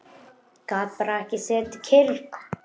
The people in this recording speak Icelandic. Gat bara ekki setið kyrr.